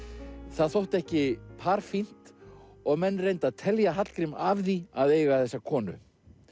það þótti ekki par fínt og menn reyndu að telja Hallgrím af því að eiga þessa konu